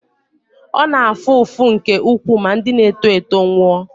ọ na-afụ ụfụ nke ukwuu ma ndị na-eto eto nwụọ